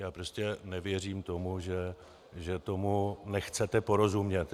Já prostě nevěřím tomu, že tomu nechcete porozumět.